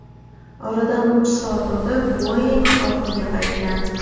Oradan uch soat o‘tib, Boeing ortiga qaytgan.